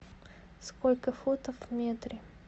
сколько футов в метре